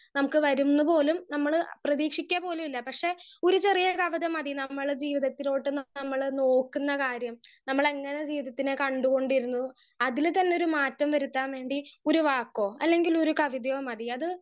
speaker 1 നമ്മുക്ക് വരുന്ന് പോലും നമ്മൾ പ്രേതിക്ഷിക്ക പോലൂല്ല പക്ഷെ ഒരു ചെറിയ കവിത മതി നമ്മൾ ജീവിതത്തിലോട്ട് നമ്മൾ നോക്കുന്ന കാര്യം നമ്മളെങ്ങനെ ജീവിതത്തിനെ കണ്ട് കൊണ്ടിരിന്നു അതിന് തന്നെ ഒരു മാറ്റം വരുത്താൻ വേണ്ടി ഒരു വാക്കോ അല്ലെങ്കിൽ ഒരു കവിതയോ മതി അത്